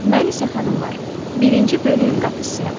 Mən isə xanımlar, birinci bölüyün qapıçısıyam.